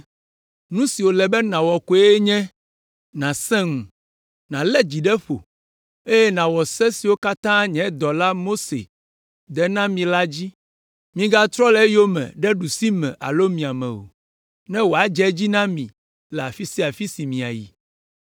Nu si wòle be nàwɔ koe nye nàsẽ ŋu, nàlé dzi ɖe ƒo, eye nàwɔ se siwo katã nye dɔla, Mose de na mi la dzi. Migatrɔ le eyome ɖe ɖusime alo miame o, be wòadze edzi na mi le afi sia afi si miayi.